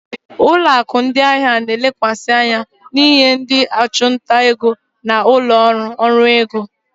Ụlọ akụ ndị ahịa na-elekwasị anya n'inye ndị ọchụnta ego na ụlọ ọrụ ọrụ ego.